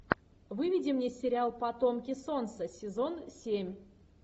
выведи мне сериал потомки солнца сезон семь